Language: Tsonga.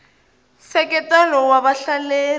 nseketelo wa vahleleri